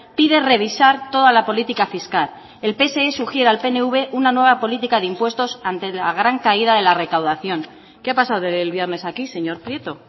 pide revisar toda la política fiscal el pse sugiere al pnv una nueva política de impuestos ante la gran caída de la recaudación qué ha pasado del viernes a aquí señor prieto